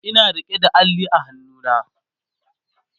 Ina rike da Alli a hannuna